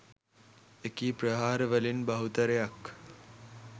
එකී ප්‍රහාර වලින් බහුතරයක්